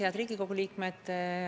Head Riigikogu liikmed!